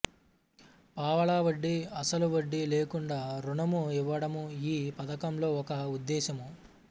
పావలా వడ్డి అసలు వడ్డీ లేకుండా ఋణము ఇవ్వడము ఈ ఫథకంలో ఒక ఉద్దేశము